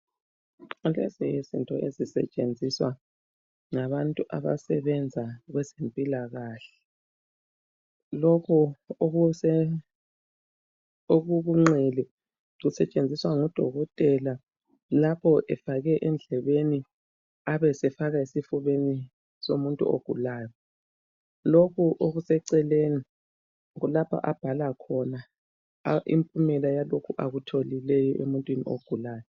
Lezi yizinto ezisetshenziswa ngabantu abasebenza kwezempilakahle. Lokho okuku nqele kusetshenziswa ngudokotela lapho efake endlebeni abesefaka esifubeni somuntu ogulayo. Lokhu okuseceleni kulapho abhala khona impumela yalokho akutholileyo kumuntu ogulayo.